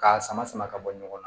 K'a sama sama ka bɔ ɲɔgɔn na